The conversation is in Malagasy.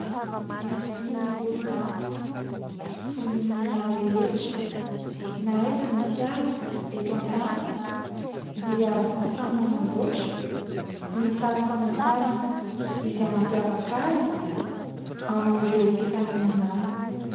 Ny orinasa, vondron'olona rehetra, na aiza misy azy eto an-tany dia samy manamboatra ny sary famantarana izay mampiavaka azy amin'ireo mpifaninana aminy.